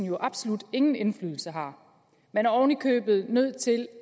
jo absolut ingen indflydelse har man er oven i købet nødt til